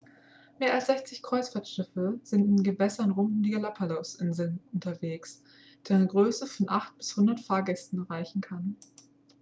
mehr als 60 kreuzfahrtschiffe sind in den gewässern rund um die galapagos-inseln unterwegs deren größe von 8 bis 100 fahrtgästen reichen kann